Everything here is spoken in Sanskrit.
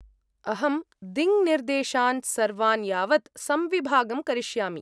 अहं दिङ्निर्देशान् सर्वान् यावत् संविभागं करिष्यामि।